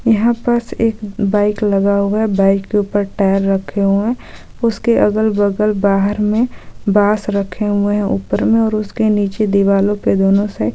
यहाँ पस एक बाइक लगा हुआ है बाइक के ऊपर टायर रखे हुए हैं उसके अगल-बगल बाहर में बॉंस रखे हुए हैं ऊपर में और उसके नीचे दीवालों के दोनों साइड --